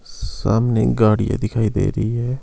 सामने गाड़ियां दिखाई दे रही है।